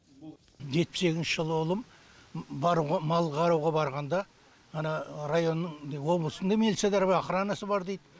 жетпіс екінші жылғы ұлым баруға мал қарауға барғанда ана районның облыстың да милциядары бар охранасы бар дит